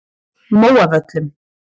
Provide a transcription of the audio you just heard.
Móavöllum